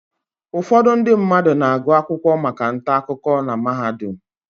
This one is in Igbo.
Ụfọdụ ndị mmadụ na-agụ akwụkwọ maka ntaakụko na mahadum.